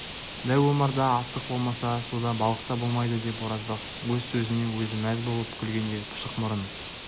дәу омарда астық болмаса суда балық та болмайды деп оразбақ өз сөзіне өзі мәз болып күлгенде пұшық мұрын